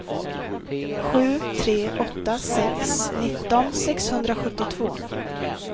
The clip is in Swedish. sju tre åtta sex nitton sexhundrasjuttiotvå